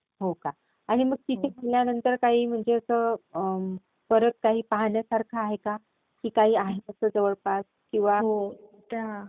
हो का? आणि मग तिथे गेल्यानंतर काही असं, परत काही पाहण्यासारखं आहे का? की काही आहे असं जवळपास किंवा...